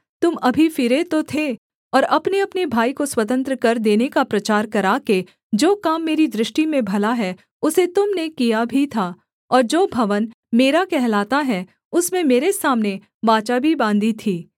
तुम अभी फिरे तो थे और अपनेअपने भाई को स्वतंत्र कर देने का प्रचार कराके जो काम मेरी दृष्टि में भला है उसे तुम ने किया भी था और जो भवन मेरा कहलाता है उसमें मेरे सामने वाचा भी बाँधी थी